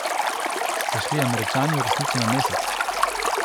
So šli Američani v resnici na Mesec?